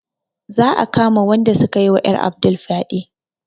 Za a kama wanda sukayi wa ƴar Abdul fyaɗe